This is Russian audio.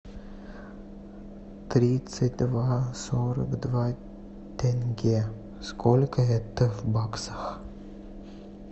тридцать два сорок два тенге сколько это в баксах